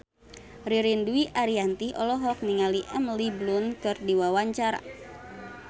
Ririn Dwi Ariyanti olohok ningali Emily Blunt keur diwawancara